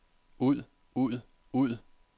ud ud ud